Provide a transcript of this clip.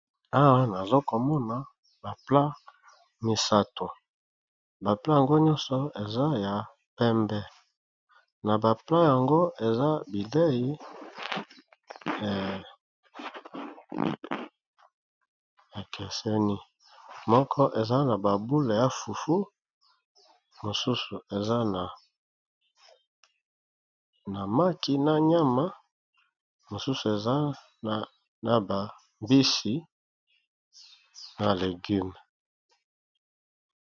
awa nazokomona bapla misato bapla yango nyonso eza ya pembe na bapla yango eza bidei ya keseni moko eza na babule ya fuffu mosusu eza na maki na nyama mosusu eza na bambisi na legume